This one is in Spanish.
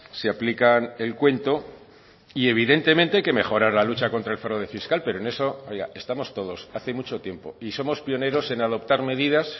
se aplican el cuento y evidentemente hay que mejorar la lucha contra el fraude fiscal pero en eso oiga estamos todos hace mucho tiempo y somos pioneros en adoptar medidas